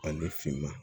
Ani finma